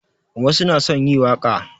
Wasu na son yi waƙa